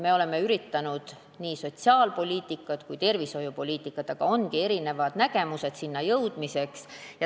Me oleme üritanud ajada nii sotsiaalpoliitikat kui ka tervishoiupoliitikat, aga ongi erinevad viisid sinna jõudmiseks.